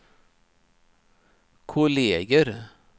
kolleger